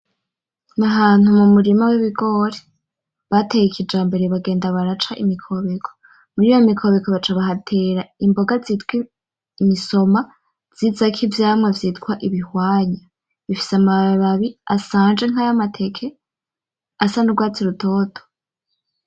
N'ahantu mu murima w'ibigori bateye ikijambere bagenda baraca imikobeko. Muriyo mikobeko, baca bahatera imboga zitwa imisoma, zizako ivyamwo vyitwa ibihwanya, bifise amababi asanje nk'aya mateke asa n'urwatsi rutoto.